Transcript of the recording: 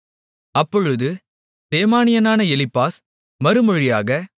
அப்பொழுது தேமானியனான எலிப்பாஸ் மறுமொழியாக